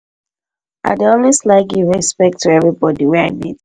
i dey always like give respect to everybody wey i meet